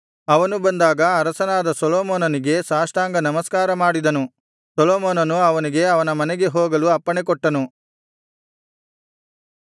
ಅವನು ಬಂದಾಗ ಅರಸನಾದ ಸೊಲೊಮೋನನಿಗೆ ಸಾಷ್ಟಾಂಗನಮಸ್ಕಾರ ಮಾಡಿದನು ಸೊಲೊಮೋನನು ಅವನಿಗೆ ಅವನ ಮನೆಗೆ ಹೋಗಲು ಅಪ್ಪಣೆಕೊಟ್ಟನು